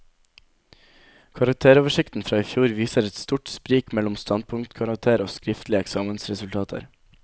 Karakteroversikten fra i fjor viser et stort sprik mellom standpunktkarakterer og skriftlige eksamensresultater.